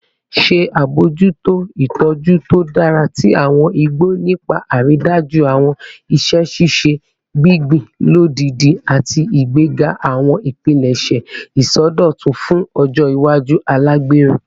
Ṣe abojuto itọju to dara ti awọn igbo nipa aridaju awọn iṣẹ ṣiṣe gbingbin lodidi ati igbega awọn ipilẹṣẹ isọdọtun fun ọjọ iwaju alagbero